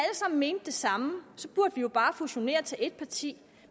sammen mente det samme burde vi jo bare fusionere til et parti